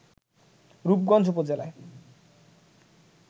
রূপগঞ্জ উপজেলায়